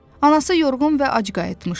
Anası yorğun və ac qayıtmışdı.